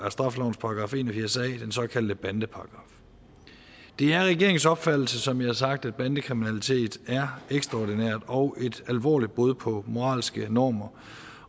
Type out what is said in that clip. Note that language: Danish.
af straffelovens § en og firs a den såkaldte bandeparagraf det er regeringens opfattelse som jeg har sagt at bandekriminalitet er ekstraordinær og et alvorligt brud på moralske normer